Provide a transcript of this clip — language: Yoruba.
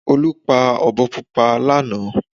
Olú pa ọ̀bọ púpọ̀ lánàá